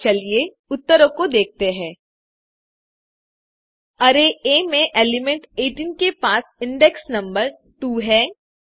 और चलिए उत्तरों को देखते हैं अरै आ में एलिमेंट 18 के पास इंडेक्स नम्बर 2 है